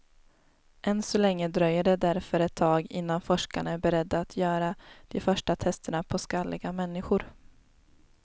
Än så länge dröjer det därför ett tag innan forskarna är beredda att göra de första testerna på skalliga människor.